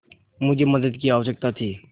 मुझे मदद की आवश्यकता थी